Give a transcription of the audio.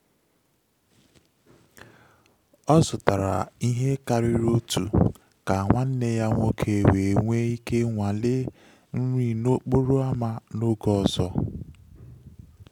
Ọ zụtara ihe karịrị otu ka nwanne ya nwoke wee nwee ike nwalee nri n'okporo ámá n’oge ọzọ.